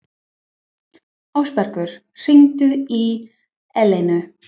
Ásbergur, hringdu í Eleinu.